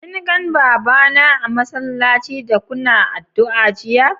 Kin gan baba na a'masallaci da Kuna addu'a jiya?